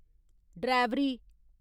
ड्रैवरी